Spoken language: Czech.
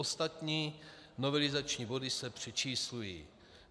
Ostatní novelizační body se přečíslují.